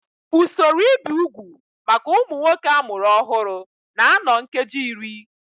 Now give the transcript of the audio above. Usoro ibi úgwù maka ụmụ nwoke a mụrụ ọhụrụ na-anọ nkeji iri